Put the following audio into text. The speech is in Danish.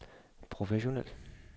professionel